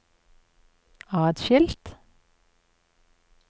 atskilt